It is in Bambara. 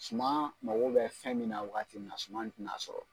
Suman mago bɛ fɛn min na wagati min na, suman tɛna a sɔrɔ.